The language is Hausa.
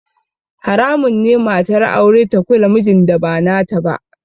Haramun ne matar aure ta kula mijin da ba nata ba